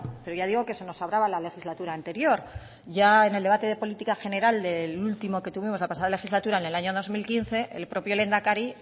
pero ya digo que se nos hablaba la legislatura anterior ya en el debate de política general del último que tuvimos la pasada legislatura en el año dos mil quince el propio lehendakari